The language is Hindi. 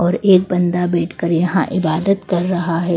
और एक बंदा बैठकर यहाँ इबादत कर रहा है।